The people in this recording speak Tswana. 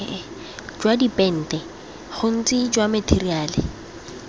jwa dipente bontsi jwa matheriale